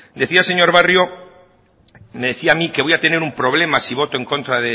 decía el señor barrio me decía a mí que voy a tener un problema si voto en contra